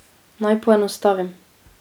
Naj poenostavim.